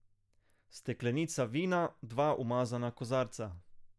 Steklenica vina, dva umazana kozarca.